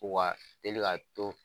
teli ka to.